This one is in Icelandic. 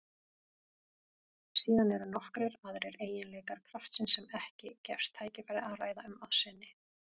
Síðan eru nokkrir aðrir eiginleikar kraftsins sem ekki gefst tækifæri að ræða um að sinni.